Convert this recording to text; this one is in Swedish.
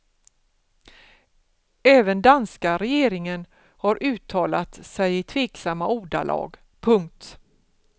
Även danska regeringen har uttalat sig i tveksamma ordalag. punkt